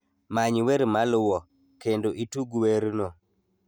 many wer maluwo, kendo itug werno